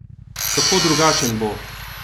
Kako drugačen bo?